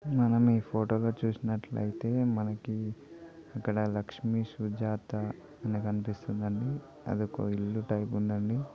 మనం ఈ ఫోటో లో చుసినట్టైతే మనకి ఇక్కడ లక్ష్మి సుజాత అని కనిపిస్తుందండి అదొక ఇల్లు టైపు ఉంది అండి.